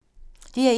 DR1